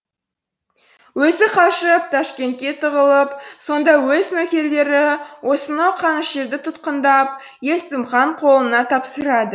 өзі қашып ташкентке тығылып сонда өз нөкерлері осынау қанішерді түтқындап есім хан қолына тапсырады